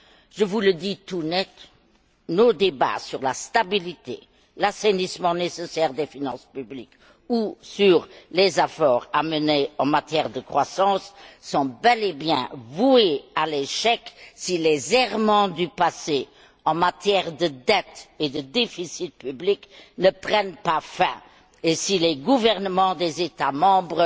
Je vous le dis tout net nos débats sur la stabilité, l'assainissement nécessaire des finances publiques ou sur les efforts à mener en matière de croissance sont bel et bien voués à l'échec si les errements du passé en matière de dettes et de déficits publics ne prennent pas fin et si les gouvernements des États membres